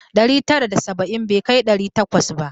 Ɗari tara da saba'in bai kai ɗari takwas ba.